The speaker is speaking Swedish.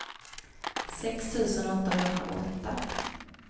sex tusen åttahundraåtta